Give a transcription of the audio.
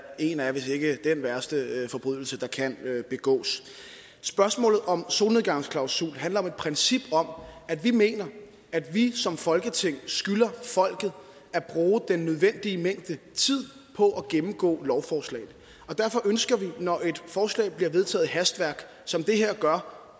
en af hvis ikke dén værste forbrydelse der kan begås spørgsmålet om solnedgangsklausul handler om et princip om at vi mener at vi som folketing skylder folket at bruge den nødvendige mængde tid på at gennemgå lovforslag derfor ønsker vi når et forslag bliver vedtaget med hastværk som det her gør